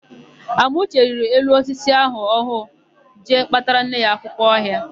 Uchendụ rịrị elu osisi ọha ahụ jee kpatara nne ya akwụkwọ ọha.